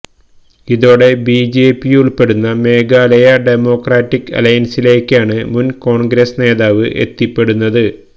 ഇതോടെ ബിജെപിയുള്പ്പെടുന്ന മേഘാലയ ഡെമോക്രാറ്റിക് അലയന്സിലേക്കാണ് മുന് കോണ്ഗ്രസ് നേതാവ് എത്തിപ്പെടുന്നത്